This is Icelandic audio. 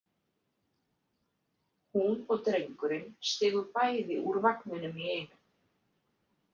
Hún og drengurinn stigu bæði úr vagninum í einu.